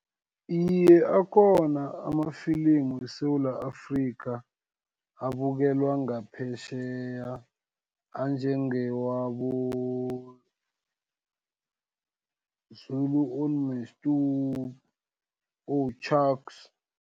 Iye, akhona amafilimu weSewula Afrika, abukelwa ngaphetjheya, anjengewabo, "Zulu on my stop" o-Chucks.